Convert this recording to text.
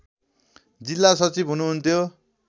जिल्ला सचिव हुनुहुन्थ्यो